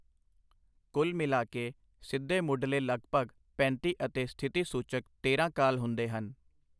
ਕੁੱਲ ਮਿਲਾ ਕੇ ਸਿੱਧੇ ਮੁੱਢਲੇ ਲਗਭਗ ਪੈਂਤੀ ਅਤੇ ਸਥਿਤੀ ਸੂਚਕ ਤੇਰਾਂ ਕਾਲ ਹੁੰਦੇ ਹਨ।